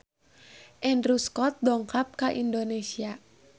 Andrew Scott dongkap ka Indonesia